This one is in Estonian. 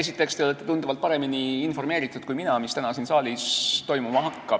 Esiteks, te olete tunduvalt paremini kui mina informeeritud, mis täna siin saalis toimuma hakkab.